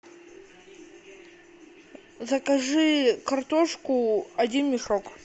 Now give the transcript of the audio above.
закажи картошку один мешок